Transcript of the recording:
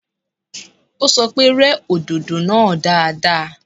Ó sọ pé, yẹ òdòdó náà dáadáa.